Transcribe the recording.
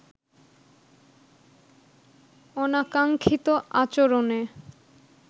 অনাকাঙ্ক্ষিত আচরণে